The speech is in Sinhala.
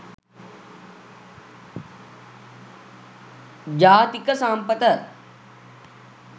jathika sampatha